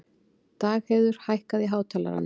Dagheiður, hækkaðu í hátalaranum.